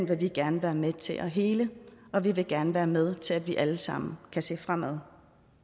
vil vi gerne være med til at hele og vi vil gerne være med til at vi alle sammen kan se fremad